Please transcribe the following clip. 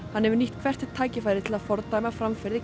hann hefur nýtt hvert tækifæri til að fordæma framferði